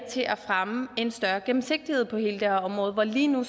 til at fremme en større gennemsigtighed på hele det her område lige nu